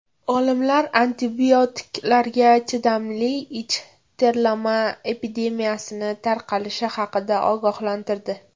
Olimlar antibiotiklarga chidamli ich terlama epidemiyasi tarqalishi haqida ogohlantirdi.